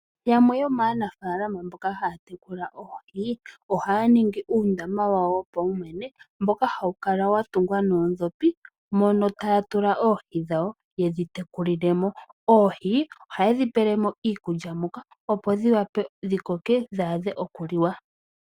Yamwe yomaanafaalama mboka haya tekula oohi ohaya ningi uundama wawo wopaumwene mboka hawu kala watungwa noodhopi mono taya tula oohi dhawo yedhi tekulilemo. Oohi ohayedhi pelemo iikulya opo dhiwape dhikoke dhi adhe okuliwa.